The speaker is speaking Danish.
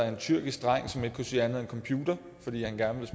en tyrkisk dreng som ikke kunne sige andet end computer fordi han gerne